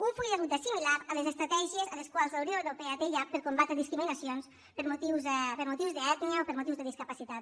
un full de ruta similar a les estratègies a les quals la unió europea té ja per combatre discriminacions per motius d’ètnia o per motius de discapacitat